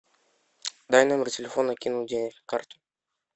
дай номер телефона кину денег на карту